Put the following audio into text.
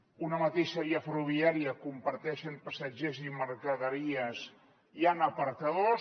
en una mateixa via ferroviària que comparteix passatgers i mercaderies hi han apartadors